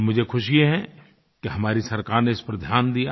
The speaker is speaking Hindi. और मुझे खुशी है कि हमारी सरकार ने इस पर ध्यान दिया